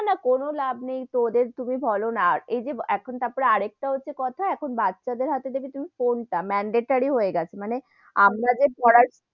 না, না কোনো লাভ নেই তো ওদের তুমি বোলো না, আর এইযে এখন তারপরে আর একটা হচ্ছে কথা এখন বাচ্চা দের হাথে থেকে তুমি ফোন টা mandatory হয়ে গেছে, মানে আমরা যে পড়া,